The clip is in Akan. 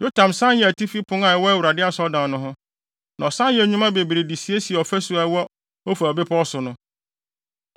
Yotam san yɛɛ Atifi Pon a ɛwɔ Awurade Asɔredan no ho, na ɔsan yɛɛ nnwuma bebree de siesiee ɔfasu a ɛwɔ Ofel bepɔw so no.